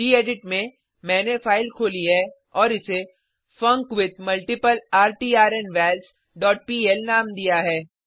gedit में मैंने file खोली है और इसे फंकविथमल्टीप्लर्टर्नवल्स डॉट पीएल नाम दिया है